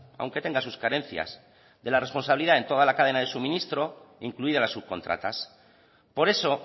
aunque tenga sus carencias de la responsabilidad en toda la cadena de suministro incluidas las subcontratas por eso